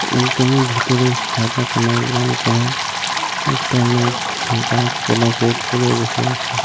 উল্টে আমি ভিতরের সাদা কালার রং করা একটা লোক গায়ের কোলা কোট পরে বসে আছে।